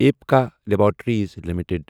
Apika laboratories limited